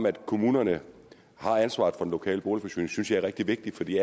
at kommunerne har ansvaret for den lokale boligforsyning synes jeg er rigtig vigtigt for de